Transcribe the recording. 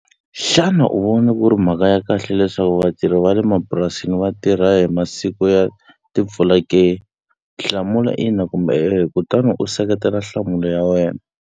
Xana u vona ku ri mhaka ya kahle leswaku vatirhi va le mapurasini va tirha hi masiku ya timpfula ke? Hlamula ina kumbe e-e kutani u seketela nhlamulo ya wena.